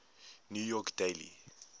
new york daily